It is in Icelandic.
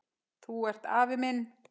Þú ert afi minn!